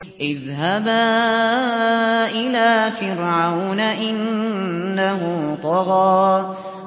اذْهَبَا إِلَىٰ فِرْعَوْنَ إِنَّهُ طَغَىٰ